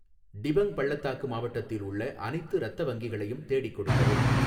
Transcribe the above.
டிபங் பள்ளத்தாக்கு மாவட்டத்தில் உள்ள அனைத்து இரத்த வங்கிகளையும் தேடிக் கொடுக்கவும்